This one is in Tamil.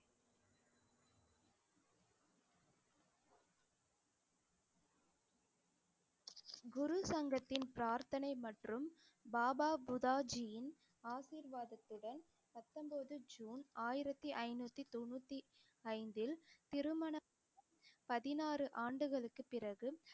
குரு சங்கத்தின் பிரார்த்தனை மற்றும் பாபா புதாஜீயின் ஆசீர்வாதத்துடன் பத்தொன்பது ஜூன் ஆயிரத்தி ஐந்நூத்தி தொண்ணூத்தி ஐந்தில் திருமண பதினாறு ஆண்டுகளுக்கு பிறகு